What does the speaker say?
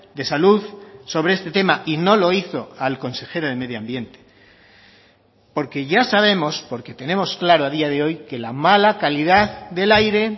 de salud sobre este tema y no lo hizo al consejero de medio ambiente porque ya sabemos porque tenemos claro a día de hoy que la mala calidad del aire